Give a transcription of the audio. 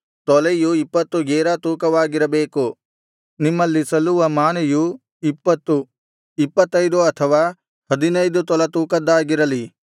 ತೊಲೆಯು ಇಪ್ಪತ್ತು ಗೇರಾ ತೂಕವಾಗಿರಬೇಕು ನಿಮ್ಮಲ್ಲಿ ಸಲ್ಲುವ ಮಾನೆಯು ಇಪ್ಪತ್ತು ಇಪ್ಪತ್ತೈದು ಅಥವಾ ಹದಿನೈದು ತೊಲಾ ತೂಕದ್ದಾಗಿರಲಿ